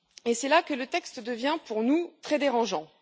C'est là que le texte devient pour nous très dérangeant.